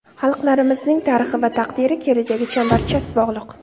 Xalqlarimizning tarixi va taqdiri, kelajagi chambarchas bog‘liq.